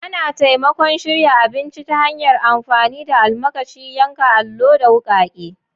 Ana taimakon shirya abinci ta hanyar amfani da almakashi, yankan allo, da wukake.